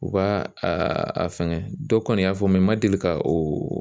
U b'a a fɛngɛ dɔ kɔni y'a fɔ n ma deli ka oo